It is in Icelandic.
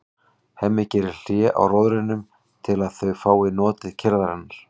Hemmi gerir hlé á róðrinum til að þau fái notið kyrrðarinnar.